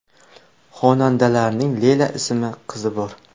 Xonandalarning Leyla ismli qizi bor.